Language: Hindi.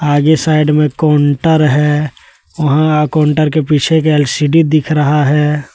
आगे साइड में काउंटर है वहां काउंटर के पीछे एक एल_सी_डी दिख रहा है।